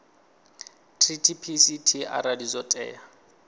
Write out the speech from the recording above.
treaty pct arali zwo tea